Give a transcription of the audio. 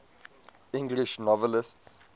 english novelists